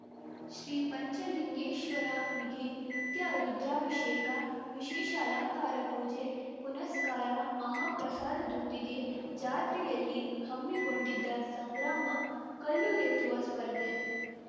ಶ್ರೀ ಪಂಚಲಿಂಗೇಶ್ವರನಿಗೆ ನಿತ್ಯ ರುದ್ರಾಭಿಷೇಕ ವಿಶೇಷ ಅಲಂಕಾರ ಪೂಜೆ ಪುನಸ್ಕಾರ ಮಹಾಪ್ರಸಾದದೊಂದಿಗೆ ಜಾತ್ರೆಯಲ್ಲಿ ಹಮ್ಮಿಕೊಂಡಿದ್ದ ಸಂಗ್ರಾಮ ಕಲ್ಲು ಎತ್ತುವ ಸ್ಪರ್ಧೆ